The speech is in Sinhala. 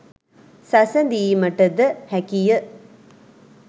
සැසඳීමට ද හැකිය.